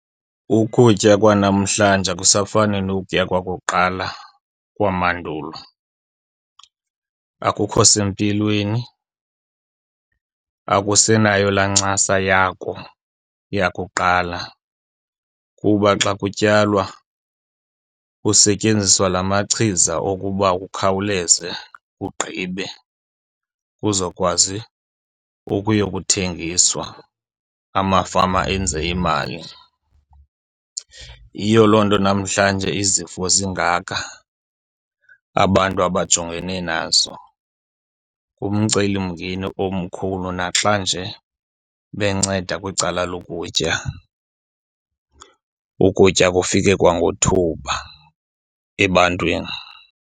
Ukutya kwanamhlanje akusafani nokutya kwakuqala kwamandulo. Akukho sempilweni, akusenayo laa ncasa yako yakuqala kuba xa kutyalwa kusetyenziswa la machiza okuba kukhawuleze kugqibe kuzokwazi ukuyokuthengiswa, amafama enze imali. Yiyo loo nto namhlanje izifo zingaka abantu abajongene nazo. Ngumcelimngeni omkhulu naxa nje benceda kwicala lokutya ukutya kufike kwangethuba ebantwini.